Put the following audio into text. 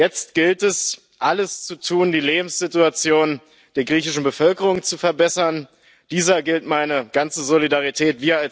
Jetzt gilt, es alles zu tun, die Lebenssituation der griechischen Bevölkerung zu verbessern, dieser gilt meine ganze Solidarität.